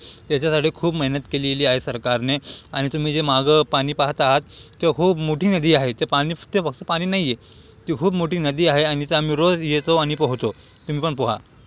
त्याच्यासाठी खूप मेहनत केलेली आहे सरकारने आणि तुम्ही जे मागं पाणी पाहत आहात ते खूप मोठी नदी आहे ते फक्त पानी नाहीये ती खूप मोठी नदी आणि इथे आम्ही रोज़ येतो आणि पोहतो तुम्ही पन पोहा.